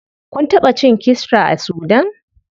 Kun taɓa cin kisra a sudan?